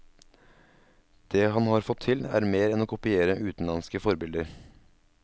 Det han har fått til, er mer enn å kopiere utenlandske forbilder.